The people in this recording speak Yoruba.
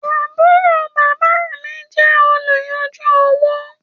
Àbúrò bábá mi jẹ oluyanju owo